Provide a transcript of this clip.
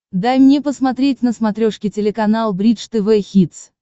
дай мне посмотреть на смотрешке телеканал бридж тв хитс